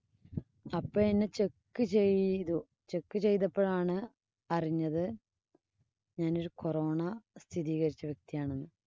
അപ്പം എന്നെ check ചെയ്തു. check ചെയ്തപ്പോഴാണ് അറിഞ്ഞത് ഞാനൊരു corona സ്ഥിരീകരിച്ച വ്യക്തിയാണെന്ന്.